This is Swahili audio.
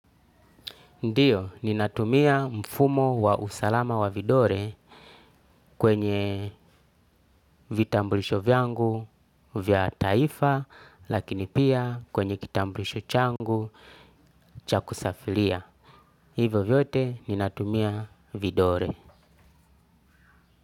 Ndio ninatumia mfumo wa usalama wa vidole kwenye vitambulisho vyangu vya taifa lakini pia kwenye kitambulisho changu cha kusafiria. Hivo vyote ninatumia vidore.